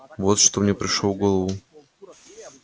вот что мне пришло в голову